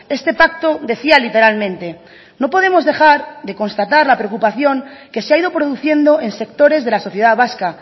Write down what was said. este pacto decía literalmente no podemos dejar de constatar la preocupación que se ha ido produciendo en sectores de la sociedad vasca